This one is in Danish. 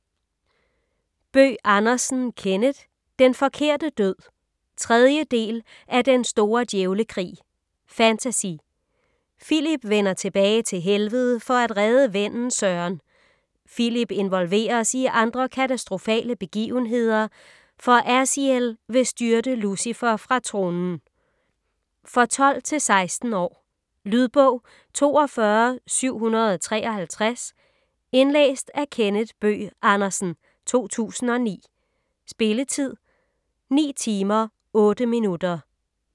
Bøgh Andersen, Kenneth: Den forkerte død 3. del af Den store djævlekrig. Fantasy. Filip vender tilbage til Helvede for at redde vennen Søren. Filip involveres i andre katastrofale begivenheder, for Aziel vil styrte Lucifer fra tronen. For 12-16 år. Lydbog 42753 Indlæst af Kenneth Bøgh Andersen, 2009. Spilletid: 9 timer, 8 minutter.